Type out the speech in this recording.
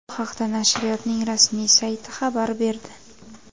Bu haqda nashriyotning rasmiy sayti xabar berdi .